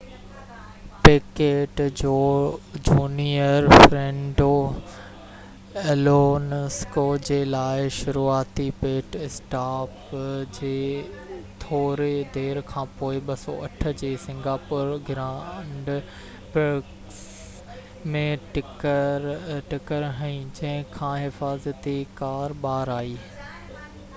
packet junior Fernando Alonso جي لاءِ شروعاتي پٽ اسٽاپ جي ٿوري دير کاپنوءِ 2008 جي سنگاپور گرانڊ پرڪس ۾ ٽڪر هنئي جنهن کان حفاظتي ڪار ٻار آئي